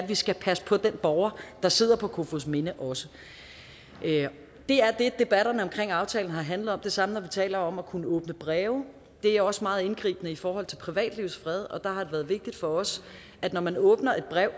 vi skal passe på den borger der sidder på kofoedsminde også det er det debatterne omkring aftalen har handlet om det samme når vi taler om at kunne åbne breve det er også meget indgribende i forhold til privatlivets fred og der har det været vigtigt for os at når man åbner et brev